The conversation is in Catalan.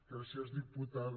gràcies diputada